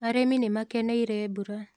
Arĩmi nĩ makeneire mbura